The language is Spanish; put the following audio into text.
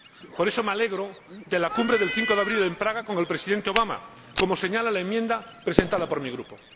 Por eso, me alegro de la Cumbre del 5 de abril en Praga con el Presidente Obama, como señala la enmienda presentada por mi Grupo.